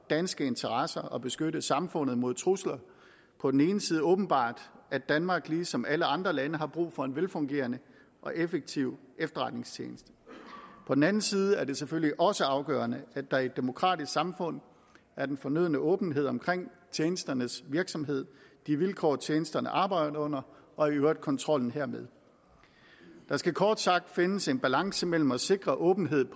danske interesser og beskytte samfundet mod trusler på den ene side åbenbart at danmark ligesom alle andre lande har brug for en velfungerende og effektiv efterretningstjeneste på den anden side er det selvfølgelig også afgørende at der i et demokratisk samfund er den fornødne åbenhed omkring tjenesternes virksomhed de vilkår tjenesterne arbejder under og i øvrigt kontrollen hermed der skal kort sagt findes en balance mellem side at sikre åbenhed